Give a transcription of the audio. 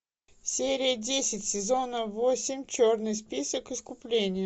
серия десять сезона восемь черный список искупление